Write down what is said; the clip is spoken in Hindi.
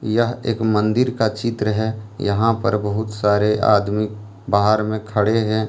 यह एक मन्दिर का चित्र है यहां पर बहुत सारे आदमी बाहर में खड़े हैं।